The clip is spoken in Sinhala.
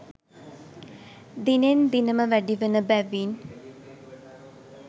දිනෙන් දිනම වැඩිවන බැවින්